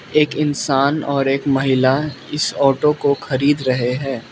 एक इंसान और एक महिला इस ऑटो को खरीद रहे है।